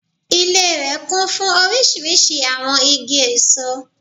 Ilé rè kún fún orísirísi àwon igi èso